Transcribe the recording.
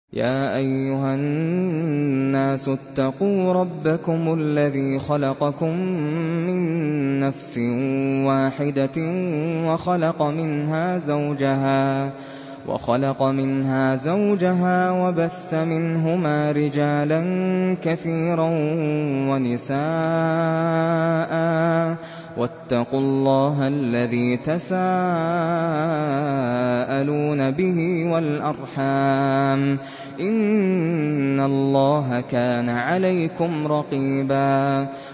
يَا أَيُّهَا النَّاسُ اتَّقُوا رَبَّكُمُ الَّذِي خَلَقَكُم مِّن نَّفْسٍ وَاحِدَةٍ وَخَلَقَ مِنْهَا زَوْجَهَا وَبَثَّ مِنْهُمَا رِجَالًا كَثِيرًا وَنِسَاءً ۚ وَاتَّقُوا اللَّهَ الَّذِي تَسَاءَلُونَ بِهِ وَالْأَرْحَامَ ۚ إِنَّ اللَّهَ كَانَ عَلَيْكُمْ رَقِيبًا